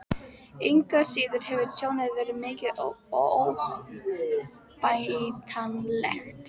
Engu að síður hefur tjónið verið mikið og óbætanlegt.